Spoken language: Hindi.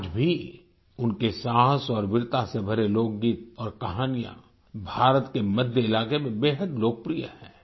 आज भी उनके साहस और वीरता से भरे लोकगीत और कहानियां भारत के मध्य इलाके में बेहद लोकप्रिय हैं